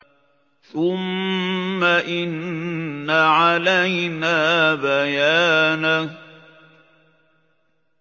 ثُمَّ إِنَّ عَلَيْنَا بَيَانَهُ